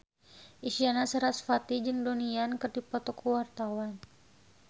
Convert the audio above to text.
Isyana Sarasvati jeung Donnie Yan keur dipoto ku wartawan